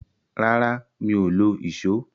Rárá, mi ò lo ìsó.